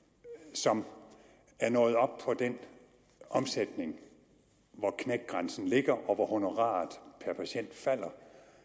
som er nået op på den omsætning hvor knækgrænsen ligger og hvor honoraret per patient falder